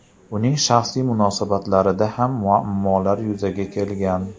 Uning shaxsiy munosabatlarida ham muammolar yuzaga kelgan.